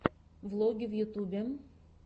влоги в ютьюбе